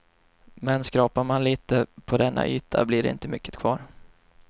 Men skrapar man lite på denna yta blir det inte mycket kvar.